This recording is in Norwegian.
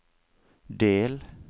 del